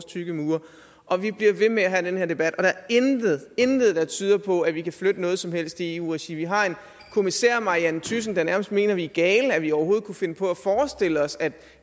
tykke mure og vi bliver ved med at have den her debat der er intet intet der tyder på at vi kan flytte noget som helst i eu regi vi har en kommissær marianne thyssen der nærmest mener vi er gale fordi vi overhovedet kunne finde på at forestille os at